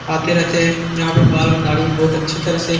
आते रहते हैं। यहाँ पे बाल और दाढ़ी बहुत अच्छी तरह से --